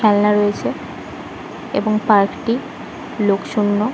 খেলনা রয়েছে এবং পার্ক - টি লোক শুন্য।